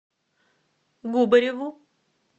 губареву